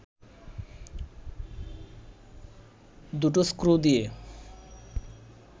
দুটো স্ক্রু দিয়ে